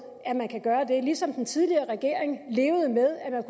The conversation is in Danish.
at man kan gøre det ligesom den tidligere regering levede med at man